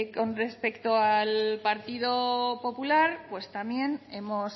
con respecto al partido popular pues también hemos